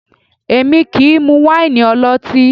Èmi kì í mú wáìnì ọlọ́tín